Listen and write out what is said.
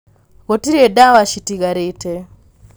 gũtirĩ ndawa citigarĩte